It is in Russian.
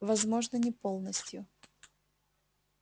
возможно не полностью